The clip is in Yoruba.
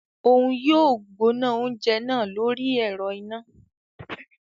Oun yóò gbóná oúnjẹ náà lórí ẹrọ iná